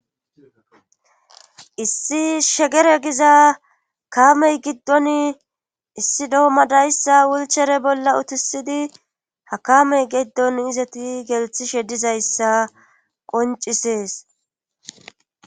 issi shegere giza kaamey giddon issi doommadayssa wulchere bolla utisidi ha kamey geddon izeti gelthishe dizayssa qoncisees